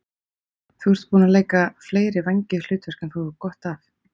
Þú ert búinn að leika fleiri vængjuð hlutverk en þú hefur gott af.